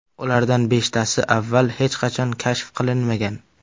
Ulardan beshtasi avval hech qachon kashf qilinmagan!